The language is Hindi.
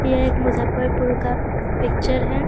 यह एक मुजफ्फरपुर का पिक्चर है।